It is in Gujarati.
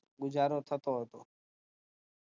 ગુજારો થતો હતો